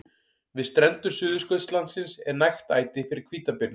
Við strendur Suðurskautslandsins er nægt æti fyrir hvítabirni.